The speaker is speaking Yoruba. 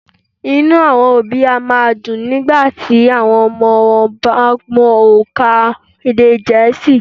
Inú àwọn òbí a má a dùn nígbàtí àwọn ọmọ wọn bá mọ ònkà èdè gẹ̀ẹ́sì